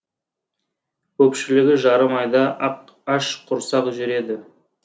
көпшілігі жарым айда ашқұрсақ жүреді